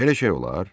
Belə şey olar?